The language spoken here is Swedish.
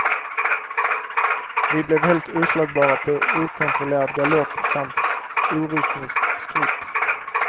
Vi blev helt oslagbara på okontrollerad galopp samt orytmisk skritt.